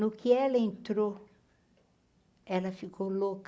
No que ela entrou, ela ficou louca.